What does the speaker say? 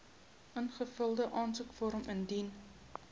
ingevulde aansoekvorm indien